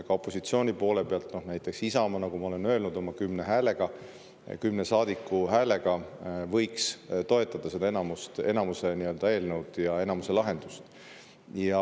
Ka opositsiooni poole pealt näiteks Isamaa, nagu ma olen öelnud, oma kümne saadiku häälega võiks toetada enamuse eelnõu ja enamuse lahendust.